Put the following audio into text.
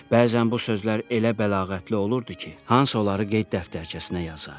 Bəzən bu sözlər elə bəlağətli olurdu ki, Hans onları qeyd dəftərçəsinə yazar.